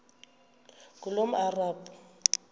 ngulomarabu